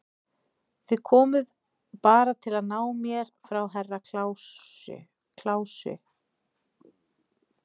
Þið komuð bara til að ná mér frá Herra Kláusi.